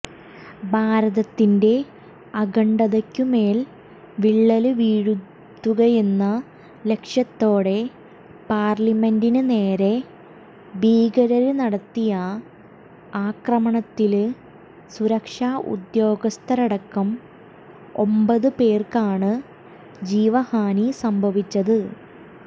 ഭാരതത്തിന്റെ അഖണ്ഡതയ്ക്കുമേല് വിള്ളല് വീഴ്ത്തുകയെന്ന ലക്ഷ്യത്തോടെ പാര്ലമെന്റിന് നേരെ ഭീകരര് നടത്തിയ ആക്രമണത്തില് സുരക്ഷാഉദ്യോഗസ്ഥരടക്കം ഒമ്പത് പേര്ക്കാണ് ജീവഹാനി സംഭവിച്ചത്